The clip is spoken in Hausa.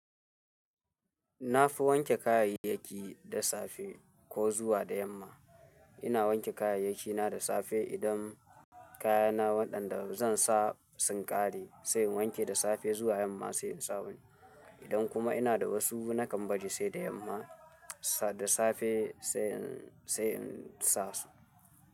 Na fi wanke kayayyaki da safe ko zuwa da yamma. Ina wanke kayayyakina da safe idan kayana waɗanda zan sa sun ƙare sai in wanke da safe zuwa yamma sai in sa wani. Idan kuma ina da wasu nakan baje sai da yamma da safe sai in, sai in sa su.